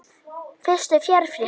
Fyrstu fjárréttir